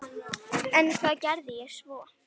En hvað geri ég svo?